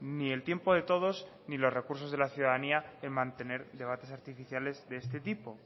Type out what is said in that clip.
ni el tiempo de todos ni los recursos de la ciudadanía en mantener debates artificiales de este tipo